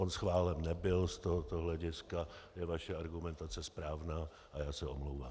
On schválen nebyl, z tohoto hlediska je vaše argumentace správná a já se omlouvám.